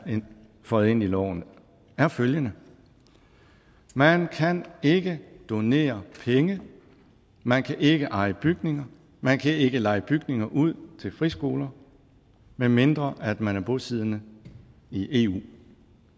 føjet ind i loven er følgende man kan ikke donere penge man kan ikke eje bygninger man kan ikke leje bygninger ud til friskoler medmindre man er bosiddende i eu